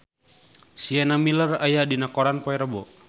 Sienna Miller aya dina koran poe Rebo